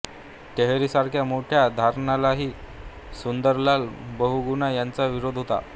टेहरीसारख्या मोठ्या धरणालाही सुंदरलाल बहुगुणा यांचा विरोध होता